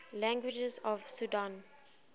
languages of sudan